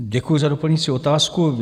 Děkuji za doplňující otázku.